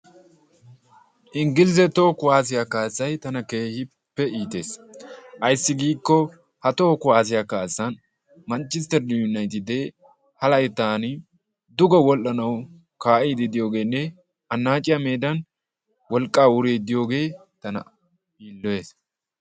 inglizze toho kuwassiyaa kaassay tana keehippe iittees. ayssi giikko ha toho kuwassiyaa kaassan manchchisteri yunayttide ha layttan duge wodhdhanaw kaa'idi diyoogenne anacciya meedani wolqqaa woridi diyoogee tana yiilloyees.